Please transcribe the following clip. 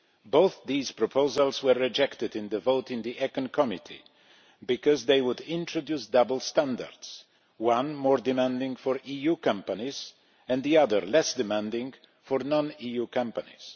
Both these proposals were rejected in the vote in the ECON Committee because they would introduce double standards one more demanding for EU companies and the other less demanding for non EU companies.